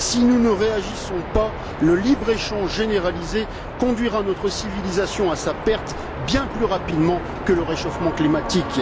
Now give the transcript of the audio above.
Si nous ne réagissons pas, le libre échange généralisé conduira notre civilisation à sa perte bien plus rapidement que le réchauffement climatique.